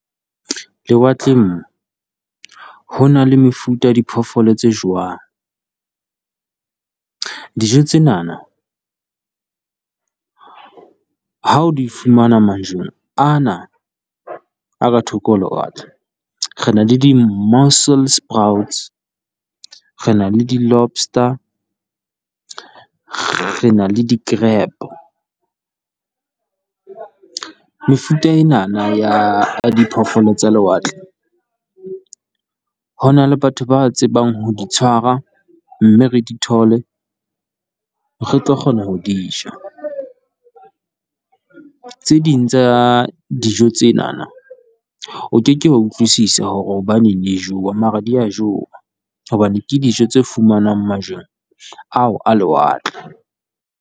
Lewatleng moo ho na le mefuta ya diphoofolo tse jewang. Dijo tsenana ha o di fumana majweng ana a ka thoko ho lewatle, re na le di-mussels , re na le di-lobstar, re na le di-grab, mefuta enana ya diphoofolo tsa lewatle ho na le batho ba tsebang ho di tshwara mme re di thole, re tlo kgona ho di ja, tse ding tsa dijo tsena o ke ke wa utlwisisa hore hobaneng di jewa mara di a jewa hobane ke dijo tse fumanwang majweng ao a lewatle.